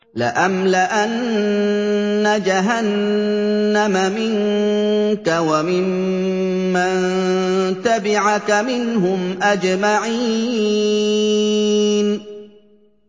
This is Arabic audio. لَأَمْلَأَنَّ جَهَنَّمَ مِنكَ وَمِمَّن تَبِعَكَ مِنْهُمْ أَجْمَعِينَ